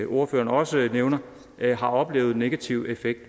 ordføreren også nævner har oplevet negativ effekt